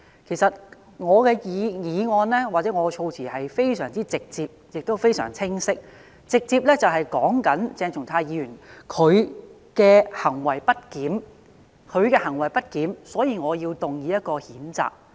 其實，我的議案或措辭是非常直接及清晰的，便是直接指出鄭松泰議員的行為不檢，所以我要動議這項譴責議案。